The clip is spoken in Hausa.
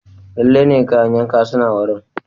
Lalle ne, kayan yanka suna wurin.